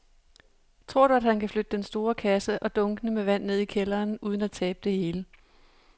Tror du, at han kan flytte den store kasse og dunkene med vand ned i kælderen uden at tabe det hele?